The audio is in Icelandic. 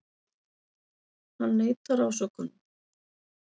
Hann neitar ásökunum